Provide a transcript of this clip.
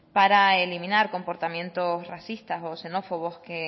para eliminar comportamientos racistas o xenófobos que